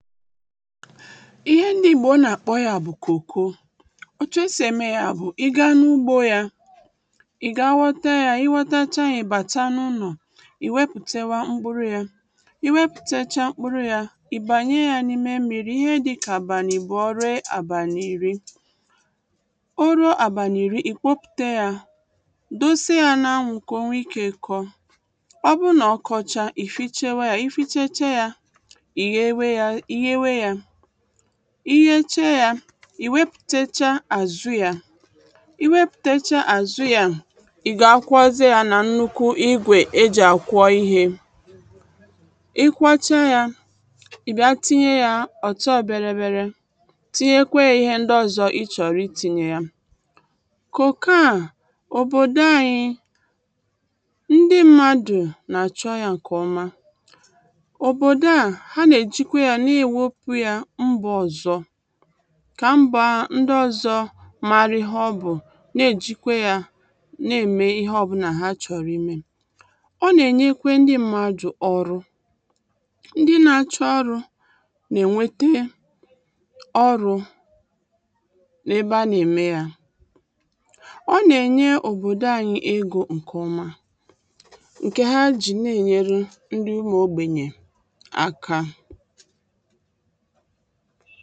ihe ndị ìgbò nà-àkpọ ya bụ̀ kòko otu e sì ème ya bụ̀ i gaa n’ugbō ya ị gaa wọta ya iwọtachaa ya ị̀ bachaa nunù ị weputewa mkpụrụ ya ị weputechaa mkpụrụ ya ị̀ bànye ya n’ime mmiri ihe dikà àbàlì ibụ̀ọ ruo àbàlì ìri oruo àbàlì ìri ìkpopùte ya dosie ya nà-anwụ̄ kà onwe ikē kọ ọbụrụ nà ọkọchaa ị̀ fichewe ya ị ficheche ya ìyewe ya iyeche ya ìwepùtecha àzu ya ìwepùtecha àzu ya ị̀ gaa kwụọzie ya nà nnukwu igwè e jì àkwọ ihē ị kwọcha ya ìbia tinye ya ọ̀tọberebere tinyekweyē ihe ndi ọ̀zọ ị chọ̀rọ̀ itinye ya kòkò a òbòdò anyi ndi mmadù nà-àchọ ya ǹkè ọma òbòdò a ha nà-èjikwe ya n’èwepù ya mbà ọ̀zọ kà mbà ndi ọzọ̄ mari ihe ọbụ̀ na-èjikwe ya n’ème ihe ọbūlà ha chọ̀rọ̀ imē ọ nà-ènyekwe ndi mmadù ọrụ ndi na-achọ ọrụ̄ gà-ènwete ọrụ̄ ebe a n’ème ya ọ nà-ènye òbòdò anyi egō ǹkè ọma ǹkè ha jì n’ènyeri ndi ụmụ̀ ogbènyè aka